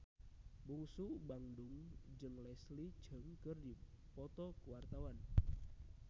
Bungsu Bandung jeung Leslie Cheung keur dipoto ku wartawan